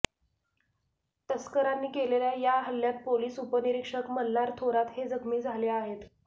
तस्करांनी केलेल्या या हल्ल्यात पोलीस उपनिरीक्षक मल्हार थोरात हे जखमी झाले आहेत